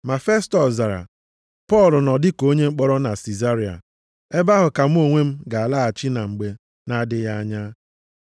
Ma Festọs zara, “Pọl nọ dịka onye mkpọrọ na Sizaria. Ebe ahụ ka mụ onwe m ga-alaghachi na mgbe na-adịghị anya.